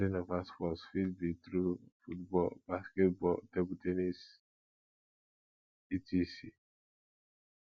bonding over sports fit be through football basketball table ten nis etc